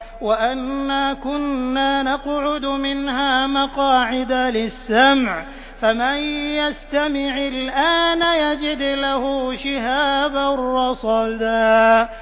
وَأَنَّا كُنَّا نَقْعُدُ مِنْهَا مَقَاعِدَ لِلسَّمْعِ ۖ فَمَن يَسْتَمِعِ الْآنَ يَجِدْ لَهُ شِهَابًا رَّصَدًا